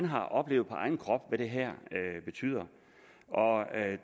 har oplevet på egen krop hvad det her betyder